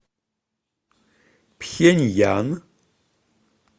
пхеньян